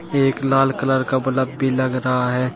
एक लाल कलर का बलब भी लग रहा हैं।